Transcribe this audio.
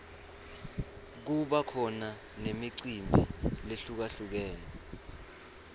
kuba khona nemicimbi lehlukalhlukene